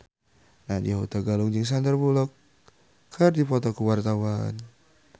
Nadya Hutagalung jeung Sandar Bullock keur dipoto ku wartawan